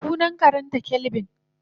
Sunan karenta kelvin.